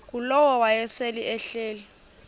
ngulowo wayesel ehleli